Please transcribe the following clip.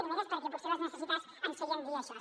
primer era perquè potser les necessitats ens feien dir això